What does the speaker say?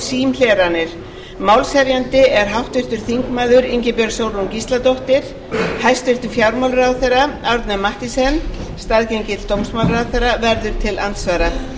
símhleranir málshefjandi er háttvirtur þingmaður ingibjörg sólrún gísladóttir hæstvirtur fjármálaráðherra árni mathiesen staðgengill dómsmálaráðherra verður til andsvara